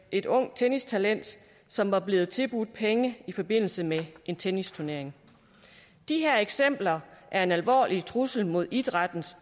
et ungt tennistalent som var blevet tilbudt penge i forbindelse med en tennisturnering de her eksempler er en alvorlig trussel mod idrættens